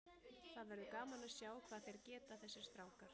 Það verður gaman að sjá hvað þeir geta þessir strákar.